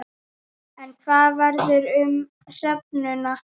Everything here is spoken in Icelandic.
En hvað verður um hrefnuna?